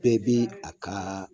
Bɛɛ be a ka